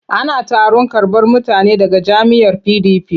Ana taron karɓar mutane daga jam'iyyar PDP.